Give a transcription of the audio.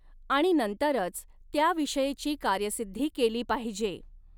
आणि नंतरच त्याविषयीची कार्यसिद्धी केली पाहिजे.